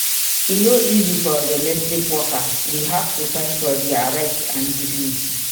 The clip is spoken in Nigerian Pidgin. E no easy for domestic workers. We have to fight for dia rights and dignity.